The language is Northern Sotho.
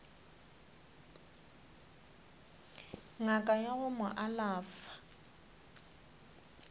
ngaka ya go mo alafa